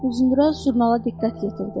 Uzundraz jurnala diqqət yetirdi.